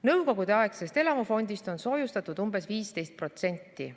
Nõukogudeaegsest elamufondist on soojustatud umbes 15%.